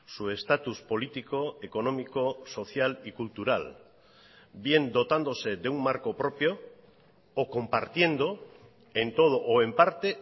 su estatus político económico social y cultural bien dotándose de un marco propio o compartiendo en todo o en parte